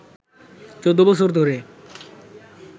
১৪ বছর ধরে